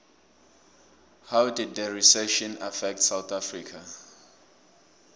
how did the recession affect south africa